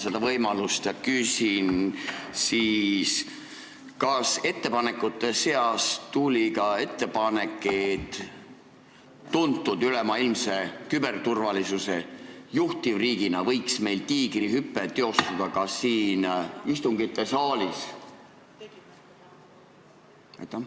Kasutan võimalust ja küsin: kas ettepanekute seas oli ka selline, et üle maailma tuntud küberturvalisuse juhtivriigina võiks meil tiigrihüpe teostuda ka siin istungite saalis?